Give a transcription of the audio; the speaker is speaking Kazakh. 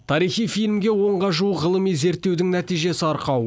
тарихи фильмге онға жуық ғылыми зерттеудің нәтижесі арқау